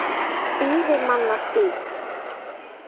Stýrimannastíg